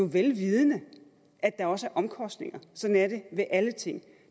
vidende at der også er omkostninger sådan er det med alle ting